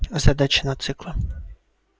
задачи на циклы